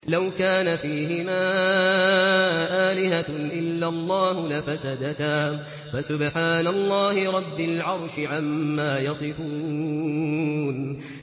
لَوْ كَانَ فِيهِمَا آلِهَةٌ إِلَّا اللَّهُ لَفَسَدَتَا ۚ فَسُبْحَانَ اللَّهِ رَبِّ الْعَرْشِ عَمَّا يَصِفُونَ